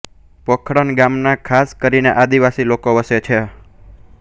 પોખરણ ગામમાં ખાસ કરીને આદિવાસી લોકો વસે છે